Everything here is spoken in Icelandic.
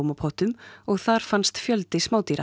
blómapottum og þar fannst fjöldi